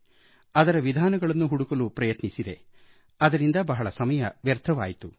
ನಕಲು ಮಾಡುವ ವಿಧಾನಗಳನ್ನು ಹುಡುಕಲು ಪ್ರಯತ್ನಿಸಿದೆ ಅದರಿಂದ ಬಹಳ ಸಮಯ ವ್ಯರ್ಥವಾಯ್ತು